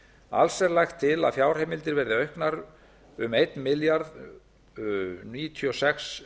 alls er lagt til að fjárheimildir verði auknar um þúsund og níutíu og sex